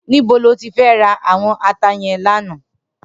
Nibó lóti rá áwòn àtá yèn làná?